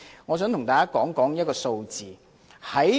我想向大家提出一組數字。